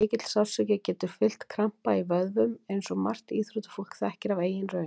Mikill sársauki getur fylgt krampa í vöðvum eins og margt íþróttafólk þekkir af eigin raun.